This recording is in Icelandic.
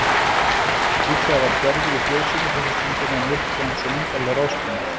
Líklega var Gerður í fjósinu þessa stundina að mjólka eins og myndarleg ráðskona.